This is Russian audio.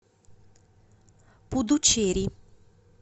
пудучерри